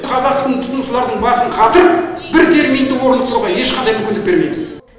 қазақтың тұтынушылардың басын қатырып бір терминді орнықтыруға ешқандай мүмкіндік бермейміз